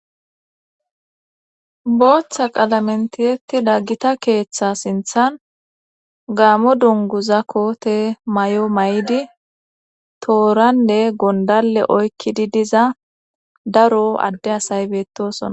booththa qalamentiyetida gita keeththa sinthan gaamo dungu zakko te may7o may7idi tooranne gondalle oykkidi diza daro adde asay beettosona